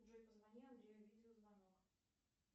джой позвони андрею видеозвонок